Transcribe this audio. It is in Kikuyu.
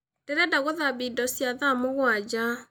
Ndĩrenda gũthambia indo cia thaa mũgwanja